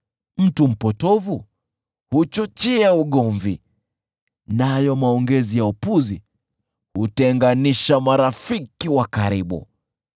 Mtu mpotovu huchochea ugomvi, nayo maongezi ya upuzi hutenganisha marafiki wa karibu.